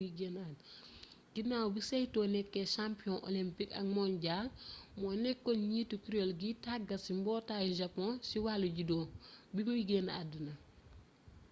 ginaaw bi saito nekkee champion olympique ak mondial moo nekkoon njiitu kuréel giy tàggat ci mbootaayu japon ci wàllu judo bi muy génn àdduna